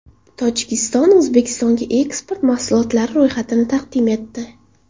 Tojikiston O‘zbekistonga eksport mahsulotlari ro‘yxatini taqdim etdi .